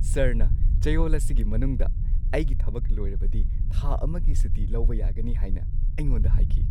ꯁꯔꯅ ꯆꯌꯣꯜ ꯑꯁꯤꯒꯤ ꯃꯅꯨꯡꯗ ꯑꯩꯒꯤ ꯊꯕꯛ ꯂꯣꯏꯔꯕꯗꯤ ꯊꯥ ꯑꯃꯒꯤ ꯁꯨꯇꯤ ꯂꯧꯕ ꯌꯥꯒꯅꯤ ꯍꯥꯏꯅ ꯑꯩꯉꯣꯟꯗ ꯍꯥꯏꯈꯤ!